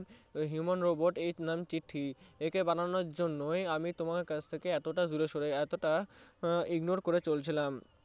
Human Robot এর নাম চিঠ্যি । একে বানানোর জন্যই আমি তোমার থেকে এতটা দূরে সড়ে এতটা ignore করে চলছিলাম